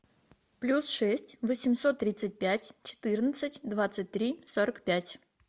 плюс шесть восемьсот тридцать пять четырнадцать двадцать три сорок пять